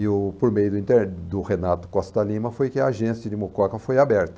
E eu por meio do do Renato Costa Lima foi que a agência de Mococa foi aberta.